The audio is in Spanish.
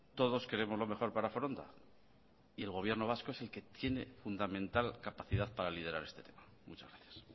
todos queremos lo mejor para foronda y el gobierno vasco es el que tiene fundamental capacidad para liderar este tema muchas gracias